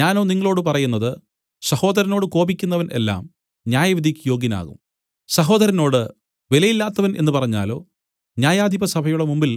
ഞാനോ നിങ്ങളോടു പറയുന്നത് സഹോദരനോട് കോപിക്കുന്നവൻ എല്ലാം ന്യായവിധിയ്ക്ക് യോഗ്യനാകും സഹോദരനോട് വിലയില്ലാത്തവൻ എന്നു പറഞ്ഞാലോ ന്യായാധിപസഭയുടെ മുമ്പിൽ